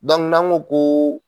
n'an ko ko